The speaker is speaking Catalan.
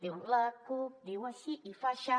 diu la cup diu així i fa aixà